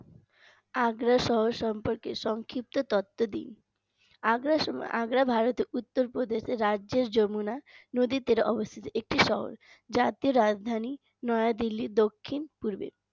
আগ্রা শহর সম্পর্কে সংক্ষিপ্ত তথ্য দিন আগ্রা আগ্রা ভারতের উত্তরপ্রদেশ রাজ্যের যমুনা নদীর তীরে অবস্থিত একটি শহর যাতে রাজধানী নয়া দিল্লি দক্ষিণ পূর্বের